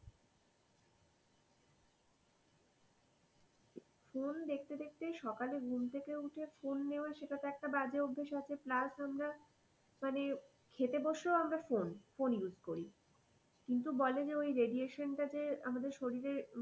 phone দেখতে দেখতে সকালে ঘুম থেকে উঠে ফোন নেয়া সেইটা তো একটা বাজে অভ্যেস আছে plus আমরা মানে খেতে বসেও আমরা ফোন ফোন use করি কিন্তু বলে ওই যে radiation টা যে আমাদের শরীরে,